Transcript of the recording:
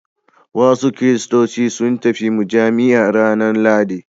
Wasu kiristoci sun tafi mujami'a ranar Lahadi.